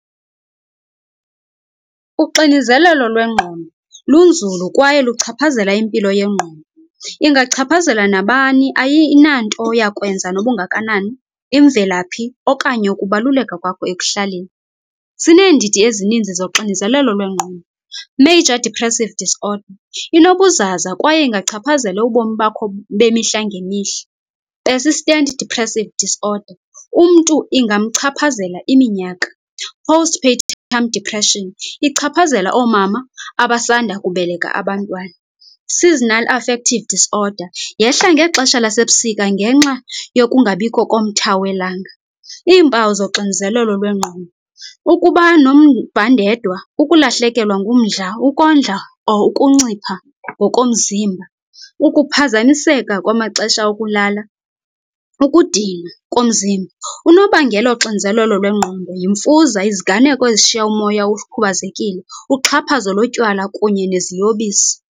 Uxinizelelo lwengqondo lunzulu kwaye luchaphazela impilo yengqondo. Ingachaphazela nabani ayinanto yakwenza nobungakanani, imvelaphi okanye ukubaluleka kwakho ekuhlaleni. Sineendidi ezininzi zoxinizelelo lwengqondo. Major depressive disorder, inobuzaza kwaye ingachaphazela ubomi bakho bemihla ngemihla. Assistant depressive disorder, umntu ingamchaphazela iminyaka. Post-partum depression ichaphazela oomama abasanda kubeleka abantwana. Seasonal affective disorder yehla ngexesha lasebusika ngenxa yokungabikho komtha welanga. Iimpawu zoxinizelelo lwengqondo, ukuba nomvandedwa, ukulahlekelwa ngumdla, ukondla or ukuncipha ngokomzimba, ukuphazamiseka kwamaxesha okulala ukudinwa komzimba. Unobangela woxinizelelo lwengqondo yimfuza, iziganeko ezishiya umoya ukhubazekile, uxhaphazo lotywala kunye neziyobisi.